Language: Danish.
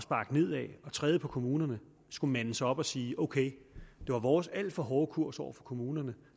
træde på kommunerne skulle mande sig op og sige ok det var vores alt for hårde kurs over for kommunerne